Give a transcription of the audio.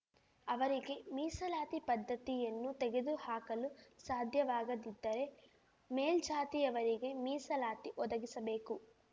ಅವರಿಗೆ ಮೀಸಲಾತಿ ಪದ್ಧತಿಯನ್ನು ತೆಗೆದುಹಾಕಲು ಸಾಧ್ಯವಾಗದಿದ್ದರೆ ಮೇಲ್ಜಾತಿಯವರಿಗೆ ಮೀಸಲಾತಿ ಒದಗಿಸಬೇಕು